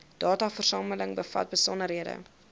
dataversameling bevat besonderhede